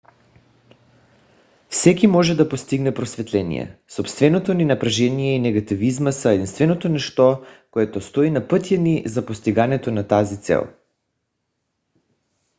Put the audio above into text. всеки може да постигне просветление. собственото ни напрежение и негативизъм са единственото нещо което стои на пътя ни за постигането на тази цел